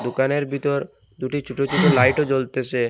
দোকানের বিতর দুটি ছোট ছোট লাইটও জ্বলতেসে।